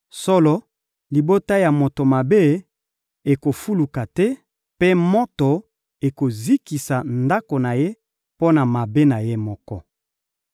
Solo, libota ya moto mabe ekofuluka te, mpe moto ekozikisa ndako na ye mpo na mabe na ye moko.